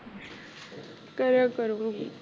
ਕਰਿਆ ਕਰੂੰਗੀ